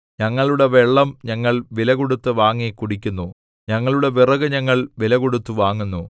ഞങ്ങളുടെ വെള്ളം ഞങ്ങൾ വിലകൊടുത്ത് വാങ്ങി കുടിക്കുന്നു ഞങ്ങളുടെ വിറക് ഞങ്ങൾ വിലകൊടുത്ത് വാങ്ങുന്നു